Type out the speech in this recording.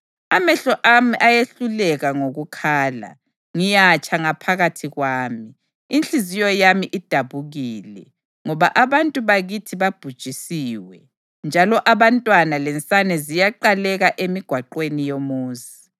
Amehlo ami ayehluleka ngokukhala, ngiyatsha ngaphakathi kwami, inhliziyo yami idabukile, ngoba abantu bakithi babhujisiwe, njalo abantwana lensane ziyaqaleka emigwaqweni yomuzi.